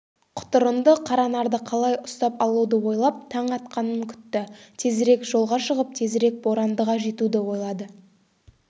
құтырынды қаранарды қалай ұстап алуды ойлап таң атқанын күтті тезірек жолға шығып тезірек борандыға жетуді ойлады